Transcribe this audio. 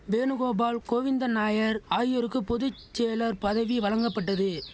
வேணுகோபால் கோவிந்தன்நாயர் ஆகியோருக்கு பொது செயலர் பதவி வழங்கப்பட்டது